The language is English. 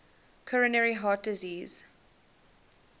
coronary heart disease